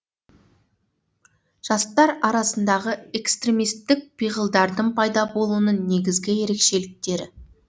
жастар арасындағы экстремистік пиғылдардың пайда болуының негізгі ерекшеліктері